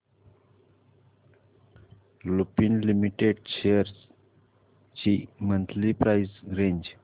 Lupin limited shares ची monthly price range